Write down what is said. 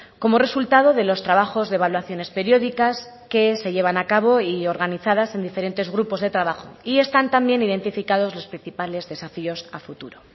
como resultado de los trabajos de evaluaciones periódicas que se llevan a cabo y organizadas en diferentes grupos de trabajo y están también identificados los principales desafíos a futuro